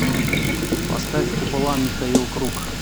поставь купола михаил круг